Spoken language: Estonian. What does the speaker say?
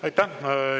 Aitäh!